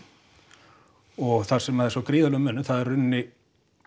og þar sem er svo gríðarlegur munur það er í rauninni